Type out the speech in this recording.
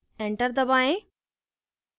enter दबाएँ